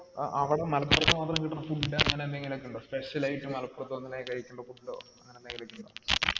അവിടെ മലപ്പുറത്ത് മാത്രം കിട്ടണ food അങ്ങനെ ങ്ങനെ ന്തെണ്ടോ special ആയിട്ട് മലപ്പുറത് വന്ന കഴിക്കണ്ട food അങ്ങനെ എന്തെലു ഇൻഡോ